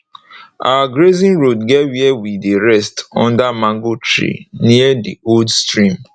our grazing road get where we dey rest under mango tree near d old stream